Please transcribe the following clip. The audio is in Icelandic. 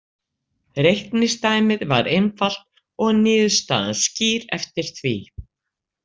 Reikningsdæmið var einfalt og niðurstaðan skýr eftir því.